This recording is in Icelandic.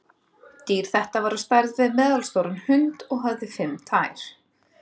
Dýr þetta var á stærð við meðalstóran hund og hafði fimm tær.